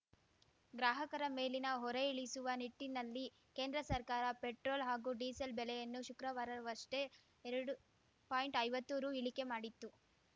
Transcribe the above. ಗ್ರಾಹಕರ ಮೇಲಿನ ಹೊರೆ ಇಳಿಸುವ ನಿಟ್ಟಿನಲ್ಲಿ ಕೇಂದ್ರ ಸರ್ಕಾರ ಪೆಟ್ರೋಲ್‌ ಹಾಗೂ ಡೀಸೆಲ್‌ ಬೆಲೆಯನ್ನು ಶುಕ್ರವಾರವಷ್ಟೇ ಎರಡು ಪಾಯಿಂಟ್ಐವತ್ತು ರು ಇಳಿಕೆ ಮಾಡಿತ್ತು